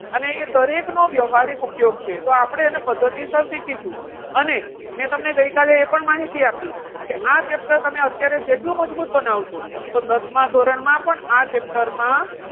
અને એ દરેકનો વ્યવહારિક ઉપયોગ છે તો આપણે એને પદ્ધતિ શીખીશું. અને મેં તમને ગઈકાલે એ પણ માહિતી આપી કે આ chapter અત્યારે તમે જેટલું મજબૂત બનાવશો, તો દસમા ધોરણમાં પણ આ chapter માં,